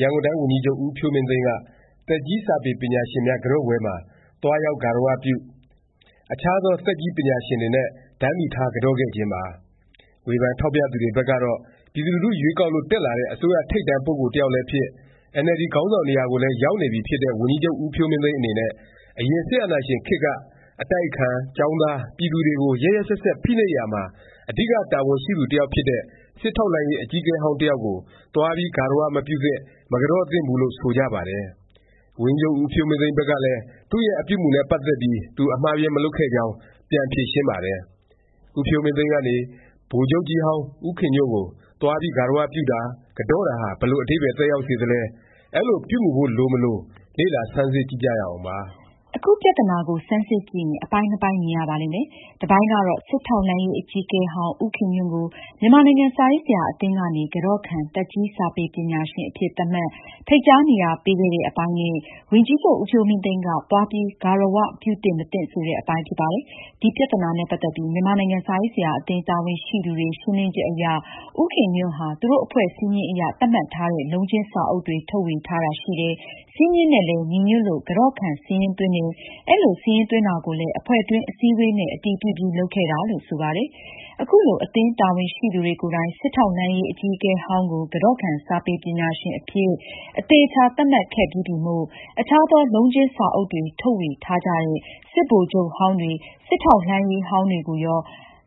ရန်ကုန်တိုင်းဝန်ကြီးချုပ် ဦးဖြိုးမင်းသိန်းက သက်ကြီး စာပေပညာရှင်များ ကန်တော့ပွဲမှာ သွားရောက် ဂါရဝပြု၊ အခြားသော သက်ကြီးစာပေပညာရှင်တွေနဲ့ တန်းတူထား ကန်တော့ခဲ့ခြင်းပါ။ ဝေဖန် ထောက်ပြသူတွေဘက်ကတော့ ပြည်သူလူထု ရွေးကောက်လို့ တက်လာတဲ့ အစိုးရ ထိပ်တန်း ပုဂ္ဂိုလ် တစ်ယောက်လည်းဖြစ်၊ အင်န်အယ်လ်ဒီ ခေါင်းဆောင်နေရာကိုလည်း ရောက်နေပြီဖြစ်တဲ့ ဝန်ကြီးချုပ် ဦးဖြိုးမင်းသိန်း အနေနဲ့ အရင် စစ်အာဏာရှင်ခေတ်က အတိုက်အခံ၊ ကျောင်းသား၊ ပြည်သူတွေကို ရက်ရက်စက်စက် ဖိနှိပ်ရာမှာ အဓိက တာဝန်ရှိသူတစ်ယောက်ဖြစ်တဲ့ စစ်ထောက်လှမ်းရေး အကြီးအကဲဟောင်း တစ်ယောက်ကို သွားပြီး ဂါရ၀ မပြုသင့်၊ မကန်တော့သင့်ဘူးလို့ ဆိုကြပါတယ်။ ဝန်ကြီးချုပ် ဦးဖြိုးမင်းသိန်းဘက်ကလည်း သူ့ရဲ့ အပြုအမူနဲ့ ပတ်သက်ပြီး သူ အမှားအယွင်း မလုပ်ခဲ့ကြောင်း ပြန်ဖြေရှင်းပါတယ်။ ဦးဖြိုးမင်းသိန်းကနေ ဗိုလ်ချုပ်ကြီးဟောင်း ခင်ညွန့်ကို သွားပြီး ဂါရဝပြုတာ၊ ကန်တော့တာဟာ ဘယ်လို အဓိပ္ပါယ် သက်ရောက်စေသလဲ၊ အဲလို ပြုမူဖို့ လိုမလို လေ့လာဆန်းစစ်ကြည့်ကြရအောင်ပါ။ အခု ပြသနာကို ဆန်းစစ်ကြည့်ရင် အပိုင်းနှစ်ပိုင်း မြင်ရပါလိမ့်မယ်။ တပိုင်းကတော့ စစ်ထောက်လှမ်းရေး အကြီးအကဲဟောင်း ဦးခင်ညွန့်ကို မြန်မာနိုင်ငံ စာရေးဆရာ အသင်းကနေ ကန်တော့ခံ သက်ကြီး စာပေပညာရှင် အဖြစ် သတ်မှတ်၊ ဖိတ်ကြား နေရာ ပေးခဲ့တဲ့ အပိုင်းနဲ့ ဝန်ကြီးချုပ် ဦးဖြိုးမင်းသိန်းက သွားပြီး ဂါရ၀ ပြုသင့်မသင့် ဆိုတဲ့ အပိုင်းဖြစ်ပါတယ်။ ဒီ ပြသနာနဲ့ ပတ်သက်ပြီး မြန်မာနိုင်ငံ စာရေးဆရာ အသင်း တာဝန်ရှိသူတွေ ရှင်းလင်းချက်အရ ဦးခင်ညွန့်ဟာ သူတို့ အဖွဲ့စည်းမျဉ်းအရ သတ်မှတ်ထားတဲ့ လုံးချင်းစာအုပ်တွေ ထုတ်ဝေထားတာ ရှိတယ်၊ စည်းမျဉ်းနဲ့လည်း ညီညွတ်လို့ ကန်တော့ခံ စာရင်းသွင်းတယ်၊ အဲလို စာရင်းသွင်းတာကိုလည်း အဖွဲ့တွင်း အစည်းအဝေးနဲ့ အတည်ပြုပြီး လုပ်ခဲ့တာလို့ ဆိုပါတယ်။ အခုလို အသင်းတာဝန်ရှိသူတွေ ကိုယ်တိုင် စစ်ထောက်လှမ်းရေး အကြီးအကဲဟောင်းကို ကန်တော့ခံ စာပေပညာရှင် အဖြစ် အသေအခြာ သတ်မှတ်ခဲ့ပြီးပြီမို့ အထူးအထွေ ဝေဖန်စရာ အခြားသော လုံးချင်းစာအုပ်တွေ ထုတ်ဝေထားကြတဲ့ စစ်ဗိုလ်ချုပ်ဟောင်းတွေ၊ စစ်ထောက်လှမ်းရေး ဟောင်းတွေကိုရော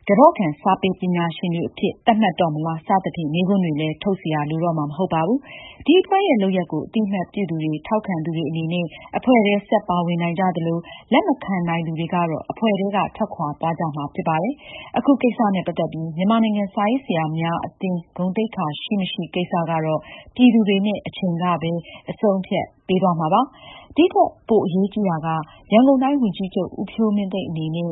ကန်တော့ခံ စာပေပညာရှင်တွေအဖြစ် သတ်မှတ်တော့မလား စသဖြင့် မေးခွန်းတွေလည်း ထုတ်စရာ လိုတော့မှာ မဟုတ်ပါဘူး။ ဒီ အဖွဲ့ရဲ့ လုပ်ရပ်ကို အသိအမှတ်ပြုသူတွေ ထောက်ခံသူတွေ အနေနဲ့ အဖွဲ့ထဲ ဆက် ပါဝင်နိုင်ကြသလို၊ လက်မခံနိုင်သူတွေကတော့ အဖွဲ့ထဲက ထွက်ခွာ သွားကြမှာ ဖြစ်ပါတယ်။ အခုကိစ္စနဲ့ ပတ်သက်ပြီး မြန်မာနိုင်ငံ စာရေးဆရာ များ အသင်း ဂုဏ်သိက္ခာ ရှိမရှိ ကိစ္စကတော့ ပြည်သူတွေနဲ့ အချိန်ကပဲ အဆုံးအဖြတ် ပေးသွားပါလိမ့်မယ်။ ဒီထက် အပိုအရေးကြီးတာက ရန်ကုန်တိုင်း ဝန်ကြီးချုပ် ဦးဖြိုးမင်းသိန်း အနေနဲ့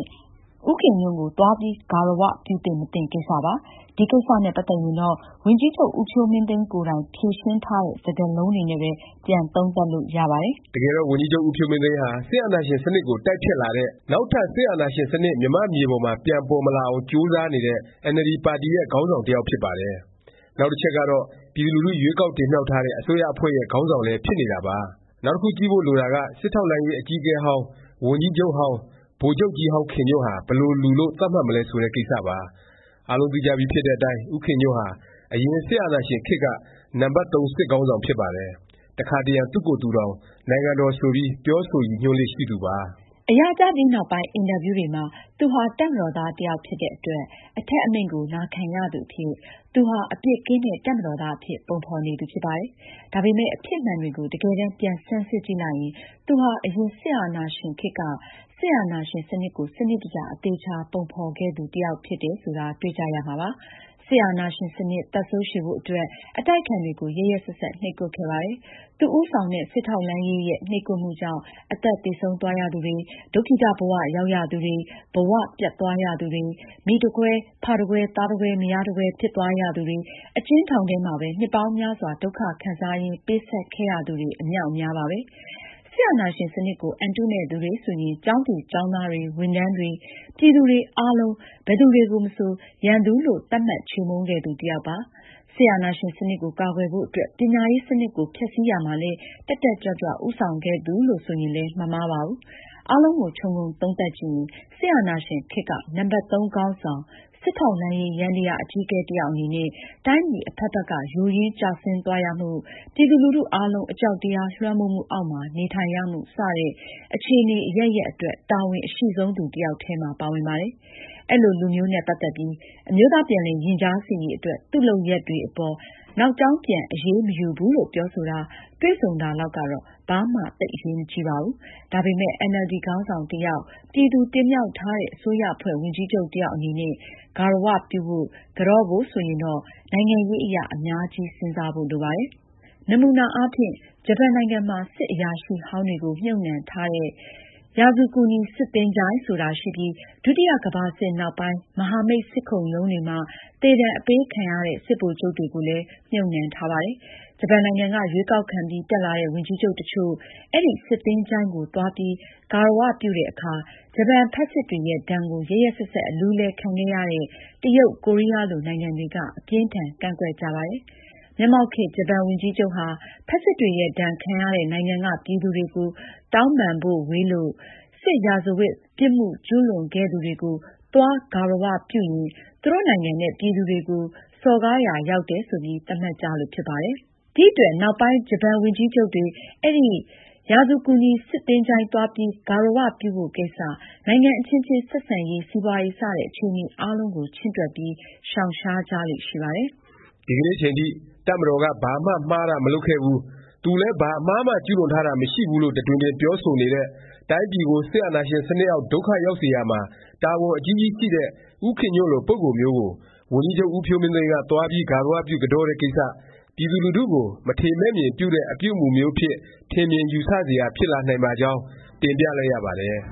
ဦးခင်ညွန့်ကို သွားပြီး ဂါရ၀ ပြုသင့် မသင့် ကိစ္စပါ။ ဒီ ကိစ္စနဲ့ ပတ်သက်ရင်တော့ ဝန်ကြီးချုပ် ဦးဖြိုးမင်းသိန်း ကိုယ်တိုင် ဖြေရှင်းထားတဲ့ စကားလုံးတွေနဲ့ပဲ ပြန်သုံးသပ်လို့ ရပါတယ်။ တကယ်တော့ ဝန်ကြီးချုပ် ဦးဖြိုးမင်းသိန်းဟာ စစ်အာဏာရှင် စနစ်ကို တိုက်ဖျက်လာတဲ့၊ နောက်ထပ် စစ်အာဏာရှင်စနစ် မြန်မာ့မြေ ပေါ်မှာ ပြန်ပေါ်မလာအောင် ကြိုးစားနေတဲ့ အင်န်အယ်လ်ဒီ ပါတီရဲ့ ခေါင်းဆောင် တစ်ယောက် ဖြစ်ပါတယ်။ နောက်တစ်ချက်ကတော့ ပြည်သူလူထု ရွေးကောက်တင်မြှောက်ထားတဲ့ အစိုးရအဖွဲ့ရဲ့ ခေါင်းဆောင်လည်း ဖြစ်နေတာပါ။ နောက်တခု ကြည့်ဖို့ လိုတာက စစ်ထောက်လှမ်းရေး အကြီးအကဲဟောင်း၊ ဝန်ကြီးချုပ်ဟောင်း၊ ဗိုလ်ချုပ်ကြီးဟောင်း ခင်ညွန့်ဟာ ဘယ်လိုလူလို့ သတ်မှတ်မလဲ ဆိုတဲ့ ကိစ္စပါ။ အားလုံးသိကြပြီဖြစ်တဲ့အတိုင်း ဦးခင်ညွန့်ဟာ အရင် စစ်အာဏာရှင်ခေတ်က နံပတ် စစ်ခေါင်းဆောင်ဖြစ်ပါတယ်။ တခါတရံ သူ့ကိုယ်သူတောင် နိုင်ငံတော် ဆိုပြီး ပြောဆိုရည်ညွန်းလေ့ ရှိသူပါ။ အရာကျပြီးနောက်ပိုင်း အင်တာဗျူးတွေမှာ သူဟာ တပ်မတော်သား တစ်ယောက်ဖြစ်တဲ့ အတွက် အထက်အမိန့်ကို နာခံရသူအဖြစ် သူဟာ အပြစ်ကင်းတဲ့ တပ်မတော်သားအဖြစ် ပုံဖော်နေသူ ဖြစ်ပါတယ်။ ဒါပေမယ့် အဖြစ်မှန်တွေကို တကယ်တန်း ပြန်ဆန်းစစ်ကြည့်လိုက်ရင် သူဟာ အရင် စစ်အာဏာရှင်ခေတ်က စစ်အာဏာရှင်စနစ်ကို စနစ်တကျ အသေအခြာ ပုံဖော်ခဲ့သူတစ်ယောက် ဖြစ်တယ်ဆိုတာ တွေ့ကြရမှာပါ။ စစ်အာဏာရှင်စနစ် သက်ဇိုးရှည်ဖို့ အတွက် အတိုက်အခံတွေကို ရက်ရက်စက်စက် နှိပ်ကွပ်ခဲ့ပါတယ်။ သူ ဦးဆောင်တဲ့ စစ်ထောက်လှမ်းရေးရဲ့ နှိပ်ကွပ်မှုကြောင့် အသက်သေဆုံးသွားရသူတွေ၊ ဒုက္ခိတ ဘ၀ ရောက်ရသူတွေ၊ ဘ၀ ပျက်သွားရသူတွေ၊ မိတကွဲ၊ ဖတကွဲ သားတကွဲ မယားတကွဲ ဖြစ်သွားရသူတွေ၊ အကျဉ်းထောင်ထဲမှာ နှစ်ပေါင်းများစွာ ဒုက္ခခံစားရင်း ပေးဆပ်ခဲ့ရသူတွေ အမြောက်အများပါပဲ။ စစ်အာဏာရှင်စနစ်ကို အန်တုမယ့်သူတွေ ဆိုရင် ကျောင်းသူကျောင်းသားတွေ၊ ဝန်ထမ်းတွေ၊ ပြည်သူတွေ အားလုံး ဘယ်သူတွေကိုမဆို ရန်သူလို့ သတ်မှတ် ချေမှုန်းခဲ့သူတစ်ယောက်ပါ။ စစ်အာဏာရှင်စနစ်ကို ကာကွယ်ဖို့ အတွက် ပညာရေးစနစ်ကို ဖျက်ဆီးရာမှာလည်း တက်တက်ကြွကြွ ဦးဆောင်ခဲ့သူလို့ ဆိုရင်လည်း မမှားပါဘူး။ အားလုံးကို ခြုံငုံသုံးသပ်ကြည့်ရင် စစ်အာဏာရှင်ခေတ်က နံပတ် ခေါင်းဆောင်၊ စစ်ထောက်လှမ်းရေး ယန္တယား အကြီးအကဲ တစ်ယောက် အနေနဲ့ တိုင်းပြည် အဖက်ဖက်က ယိုယွင်းကျဆင်းသွားရမှု၊ ပြည်သူလူထုအားလုံး အကြောက်တရားလွှမ်းမိုးမှု အောက်မှာ နေထိုင်ရမှု စတဲ့ အခြေအနေ အရပ်ရပ်အတွက် တာဝန်အရှိဆုံး သူတစ်ယောက်ထဲမှာ ပါဝင်ပါတယ်။ အဲလိုလူမျိုးနဲ့ ပတ်သက်ပြီး အမျိုးသား ပြန်လည်ရင်ကြားစေ့ရေး အတွက် သူ့လုပ်ရပ်တေအပေါ် နောက်ကြောင်းပြန် အရေးမယူဘူးလို့ ပြောဆိုတာ၊ တွေ့ဆုံတာ လောက်ကတော့ ဘာမှ သိပ်အရေးမကြီးပါဘူး။ ဒါပေမယ့် အင်န်အယ်လ်ဒီ ခေါင်းဆောင်တစ်ယောက်၊ ပြည်သူတင်မြှောက်ထားတဲ့ အစိုးရအဖွဲ့ ဝန်ကြီးချုပ်တစ်ယောက် အနေနဲ့ ဂါရ၀ ပြုဖို့၊ ကန်တော့ဖို့ ဆိုရင်တော့ နိုင်ငံရေးအရ အများကြီး စဉ်းစားဖို့ လိုပါတယ်။ နမူနာအားဖြင့် ဂျပန်နိုင်ငံမှာ စစ်အရာရှိဟောင်းတွေကို မြှုပ်နှံထားတဲ့ ရာဇူကူနီ စစ်သဂြို ၤင်း ဆိုတာရှိပြီး ဒုတိယ ကမ္ဘာစစ်နောက်ပိုင်း မဟာမိတ် စစ်ခုံရုံးတွေမှာ သေဒါဏ်အပေးခံရတဲ့ စစ်ဗိုလ်ချုပ်တွေကိုလည်း မြှုပ်နှံထားပါတယ်။ ဂျပန်နိုင်ငံက ရွေးကောက်ခံပြီး တက်လာတဲ့ ဝန်ကြီးချုပ်တစ်ချို့ အဲဒီ စစ်သဂြိ ၤုင်းကို သွားပြီး ဂါရဝပြုတဲ့အခါ ဂျပန်ဖက်စစ်တွေရဲ့ ဒါဏ်ကို ရက်ရက်စက်စက် အလူးအလဲ ခံခဲ့ရတဲ့ တရုတ်၊ ကိုရီးယားလို နိုင်ငံတွေက အပြင်းအထန် ကန့်ကွက်ကြပါတယ်။ မျက်မှောက်ခေတ် ဂျပန်ဝန်ကြီးချုပ်ဟာ ဖက်စစ်တွေရဲ့ ဒါဏ်ခံရတဲ့ နိုင်ငံက ပြည်သူတွေကို တောင်းပန်ဖို့ ဝေးလို့ စစ်ရာဇဝတ် ပြစ်မှုကျူးလွန်ခဲ့သူတွေကို သွားဂါရဝပြုရင်း သူတို့နိုင်ငံနဲ့ ပြည်သူတွေကို စော်ကားရာရောက်တယ် ဆိုပြီး သတ်မှတ်ကြလို့ ဖြစ်ပါတယ်။ ဒီအတွက် နောက်ပိုင်း ဂျပန်ဝန်ကြီးချုပ်တွေ အဲဒီ ရာဇူကူနီ စစ်သဂြို ၤင်း သွားပြီး ဂါရဝပြုဖို့ ကိစ္စ၊ နိုင်ငံအခြင်းခြင်း ဆက်ဆံရေး၊ စီးပွားရေး စတဲ့ အခြေအနေအားလုံးကို ချင့်တွက်ပြီး ရှောင်ရှားကြလေ့ ရှိပါတယ်။ ဒီကနေ့အချိန်ထိ တပ်မတော်က ဘာမှ မှားတာ မလုပ်ခဲ့ဖူး၊ သူလည်း ဘာအမှားမှ ကျူးလွန်ထားတာ မရှိဘူး လို့ တတွင်တွင် ပြောဆိုနေတဲ့၊ တိုင်းပြည်ကို စစ်အာဏာရှင်စနစ်အောက် ဒုက္ခရောက်စေရာမှာ တာဝန်အကြီးကြီးရှိတဲ့ ဦးခင်ညွန့်လို ပုဂ္ဂိုလ်မျိုးကို ဝန်ကြီးချုပ် ဦးဖြိုးမင်းသိန်းက သွားပြီး ဂါရဝပြု ကန်တော့တဲ့ကိစ္စ ပြည်သူလူထုကို မထေမဲ့မြင်ပြုတဲ့ အပြုအမူမျိုးအဖြစ် ထင်မြင်ယူဆစရာ ဖြစ်လာနိုင်ပါကြောင်း တင်ပြလိုက်ရပါတယ်။